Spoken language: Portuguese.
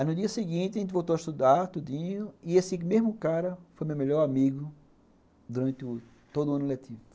Aí, no dia seguinte, a gente voltou a estudar, tudinho, e esse mesmo cara foi meu melhor amigo durante todo o ano letivo.